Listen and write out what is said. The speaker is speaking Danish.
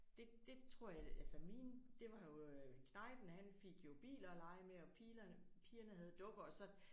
Det det tror jeg altså min det var jo knægten han fik jo biler at lege med og Pilerne pigerne havde dukker og så